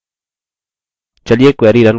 चलिए query run करते हैं